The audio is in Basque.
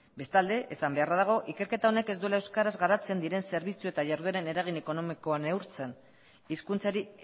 bestalde esan beharra dago ikerketa honek ez duela euskaraz garatzen diren zerbitzu eta jardueren eragin ekonomikoa neurtzen hizkuntzari